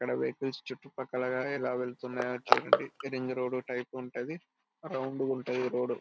ఇక్కడ వెహికల్ చుట్టుపక్కల గాని ఎలా వెళ్తున్నాయో చూడండి రింగ్ రోడ్డు టైపు ఉంటది. రౌండ్ గా ఉంటది రోడ్డు.